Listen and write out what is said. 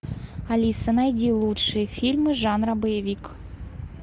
алиса найди лучшие фильмы жанра боевик